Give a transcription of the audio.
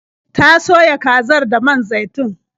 Ta soya kazar da man zaitun.